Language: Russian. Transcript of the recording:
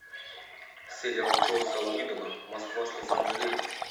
сериал джосса уидона москва слезам не верит